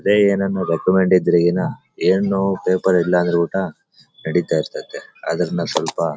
ಅದೇ ಏನನ್ನು ರೆಕಮೆಂಡ್ ಇದ್ರೆ ಏನು ಏನೋ ಪೇಪರ್ ಇಲ್ಲ ಅಂದ್ರು ಕೂಡ ನಡೀತಾ ಇರ್ತಾತ್ತೆ ಅದನ್ನ ಸ್ವಲ್ಪ--